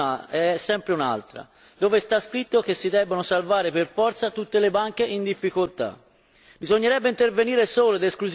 In ogni caso, la questione di fondo è un'altra dove sta scritto che si debbano salvare per forza tutte le banche in difficoltà?